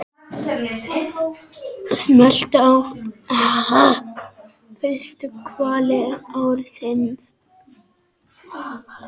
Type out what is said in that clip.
Fyrstu hvali ársins?